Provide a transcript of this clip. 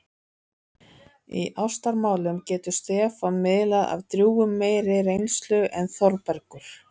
Í ástamálum getur Stefán miðlað af drjúgum meiri reynslu en Þórbergur.